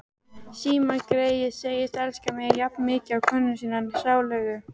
Símon greyið segist elska mig jafnmikið og konuna sína sálugu.